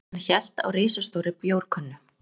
Hann hélt á risastórri bjórkönnu.